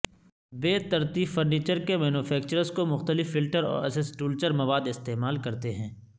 بے ترتیب فرنیچر کے مینوفیکچررز کو مختلف فلٹر اور اسسٹولچر مواد استعمال کرتے ہیں